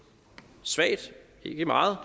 svagt ikke meget